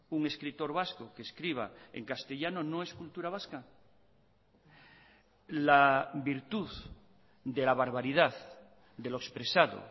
un escritor vasco que escriba en castellano no es cultura vasca la virtud de la barbaridad de lo expresado